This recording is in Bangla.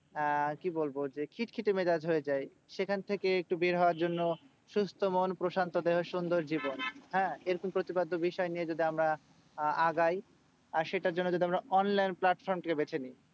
আহ কি বলবো? যে খিটখিটে মেজাজ হয়ে যায়। সেখান থেকে একটু বের হওয়ার জন্য সুস্থ মন প্রশান্ত দেহ সুন্দর জীবন, হ্যাঁ? এরকম করে বিষয় যদি আমরা আহ আগাই আর সেটার জন্য যদি আমরা online platform টা কে বেছে নিই।